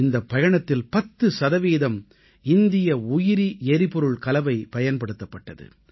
இந்தப் பயணத்தில் 10 சதவீதம் இந்திய உயிரி எரிபொருள் கலவை பயன்படுத்தப்பட்டது